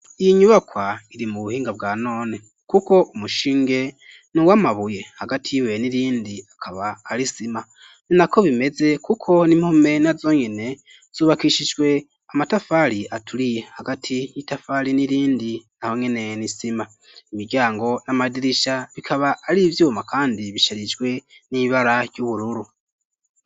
Iyi nyubakwa iri mu buhinga bwa none kuko umushinge nuwa mabuye hagati y'ibuye n'irindi akaba ari isima ninako bimeze kuko n'impome na zonyene zubakishijwe amatafari aturiye hagati y'itafari n'irindi naho nkene n’isima imiryango n'amadirisha bikaba ari ivyuma kandi bisharijwe n'ibara ry'ubururu.